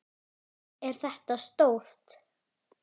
Er þetta stórt?